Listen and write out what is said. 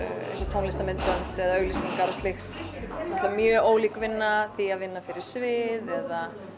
tónlistarmyndbönd eða auglýsingar og slíkt er náttúrulega mjög ólík vinna því að vinna fyrir svið eða